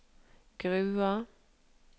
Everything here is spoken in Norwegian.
Grua